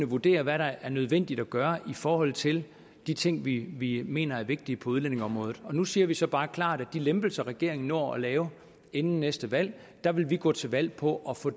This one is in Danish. vurdere hvad der er nødvendigt at gøre i forhold til de ting vi vi mener er vigtige på udlændingeområdet nu siger vi så bare klart hvad angår de lempelser regeringen når at lave inden næste valg at der vil vi gå til valg på at få